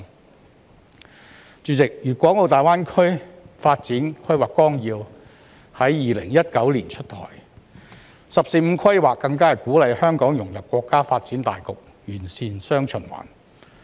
代理主席，《粤港澳大灣區發展規劃綱要》在2019年出台，"十四五"規劃更是鼓勵香港融入國家發展大局，完善"雙循環"。